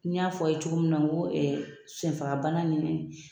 Ni n y'a fɔ ye cogo min na n ko ɛ senfagabana ni